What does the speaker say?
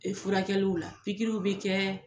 Furakɛliw la pikiriw bɛ kɛ